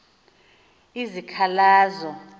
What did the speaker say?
izikhalazo